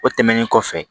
O tɛmɛnen kɔfɛ